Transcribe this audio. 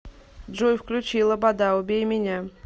джой включи лабода убей меня